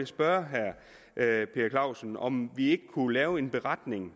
spørge herre per clausen om vi ikke kunne lave en beretning